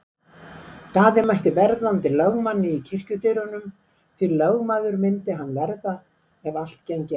Daði mætti verðandi lögmanni í kirkjudyrunum, því lögmaður myndi hann verða ef allt gengi eftir.